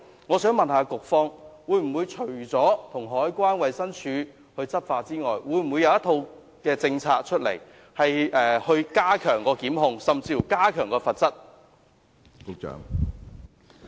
我想問，除了與海關和衞生署一起執法之外，局方會否訂立一套政策，加強檢控和罰則？